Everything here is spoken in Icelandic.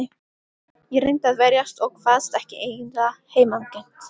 Ég reyndi að verjast og kvaðst ekki eiga heimangengt.